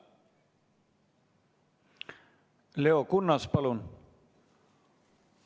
Leo Kunnas, palun!